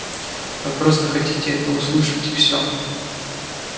вы просто хотите это услышать и все